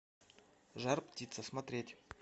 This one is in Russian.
жар птица смотреть